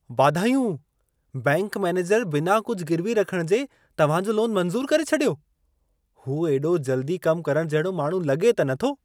वाधायूं! Bank manager बिना कुझ गिर्वी रखण जे तव्हां जो लोनु मंज़ूरु करे छॾियो? हू एॾो जल्दी कमु करण जहिड़ो माण्हू लॻे त नथो।